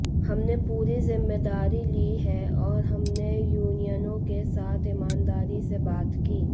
हमने पूरी जिम्मेदारी ली है और हमने यूनियनों के साथ ईमानदारी से बात की